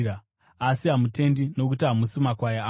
asi hamutendi nokuti hamusi makwai angu.